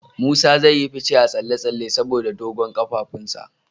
Musa zai yi fice a tsalle-tsalle saboda dogon kafafunsa.